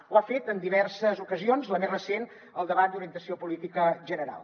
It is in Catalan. ho ha fet en diverses ocasions la més recent al debat d’orientació política general